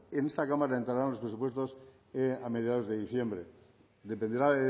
en esta cámara entrarán los presupuestos a mediados de diciembre dependerá